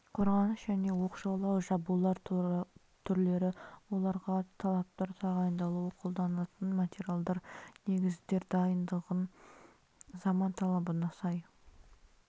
қорғаныс және оқшаулау жабулар түрлері оларға талаптар тағайындалуы қолданылатын материалдар негіздер дайындығы заман талабына сай